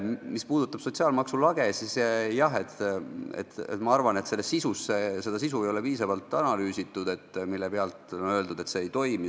Mis puudutab sotsiaalmaksu lage, siis jah, ma arvan, et ei ole piisavalt analüüsitud seda sisu, mille pealt on öeldud, et see ei toimi.